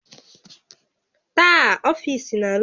Taa, ọfiisi na-arụsi ọrụ ike